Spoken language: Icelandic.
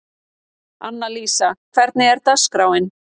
Annalísa, hvernig er dagskráin?